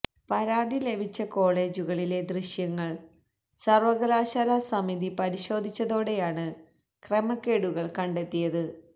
പരാതി ലഭിച്ച കോളജുകളിലെ ദൃശ്യങ്ങൾ സർവകലാശാലാ സമിതി പരിശോധിച്ചതോടെയാണ് ക്രമക്കേടുകൾ കണ്ടെത്തിയത്